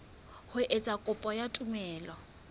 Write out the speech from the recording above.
ho etsa kopo ya tumello